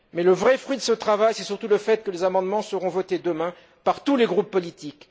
Mais le vrai fruit de ce travail c'est surtout le fait que les amendements seront votés demain par tous les groupes politiques.